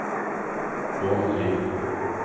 Åmli